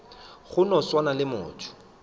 go no swana le motho